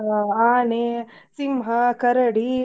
ಹಾ ಆನೆ, ಸಿಂಹಾ, ಕರಡಿ.